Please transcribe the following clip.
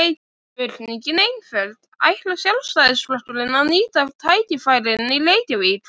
Spurningin er einföld: Ætlar Sjálfstæðisflokkurinn að nýta tækifærin í Reykjavík?